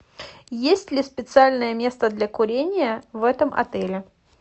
есть ли специальное место для курения в этом отеле